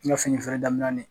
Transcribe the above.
N ka fini feere daminɛ ni